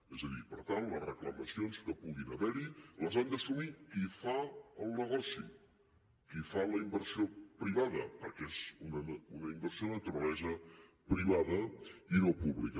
és a dir per tant les reclamacions que puguin haver hi les han d’assumir qui fa el negoci qui fa la inversió privada perquè és una inversió de naturalesa privada i no pública